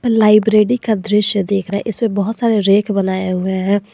Library का दृश्य देख रहे इसमें बहुत सारे रेक बनाए हुए हैं।